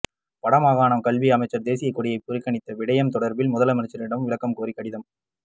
வடமாகாண கல்வி அமைச்சர் தேசிய கொடியை புறக்கணித்த விடயம் தொடர்பில் முதலமைச்சரிடம் விளக்கம் கோரி கடிதம்